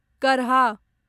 करहा